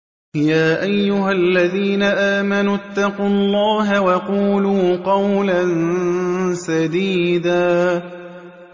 يَا أَيُّهَا الَّذِينَ آمَنُوا اتَّقُوا اللَّهَ وَقُولُوا قَوْلًا سَدِيدًا